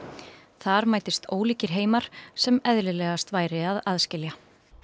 þar mætist ólíkir heimar sem eðlilegast væri að aðskilja